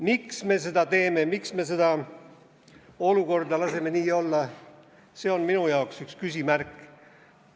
Miks me seda teeme, miks me laseme sel olukorral nii olla, on minu jaoks üks küsimärk.